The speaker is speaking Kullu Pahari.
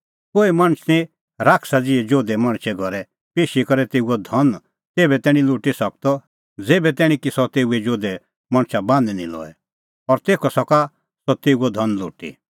कोहै मणछ निं शैताना ज़िहै जोधै मणछे घरै पेशी करै तेऊओ धन तेभै तैणीं लुटी सकदअ ज़ेभै तैणीं की सह तेऊ जोधै मणछा बान्हीं नां लऐ और तेखअ सका सह तेऊओ धन लुटी